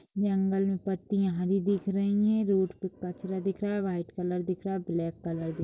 जंगल में पत्तियाँ हरी दिख रही हैं। रोड पे कचरा दिख रहा व्हाइट कलर दिख रहा ब्लैक कलर दि --